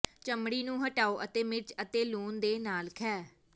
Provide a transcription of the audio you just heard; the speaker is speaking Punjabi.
ਚਮੜੀ ਨੂੰ ਹਟਾਓ ਅਤੇ ਮਿਰਚ ਅਤੇ ਲੂਣ ਦੇ ਨਾਲ ਖਹਿ